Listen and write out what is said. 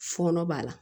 Fɔɔnɔ b'a la